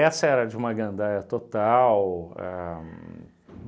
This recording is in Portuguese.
era de uma gandaia total. Ahn